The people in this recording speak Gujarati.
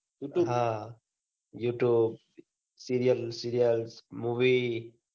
હા youtube serial serial movie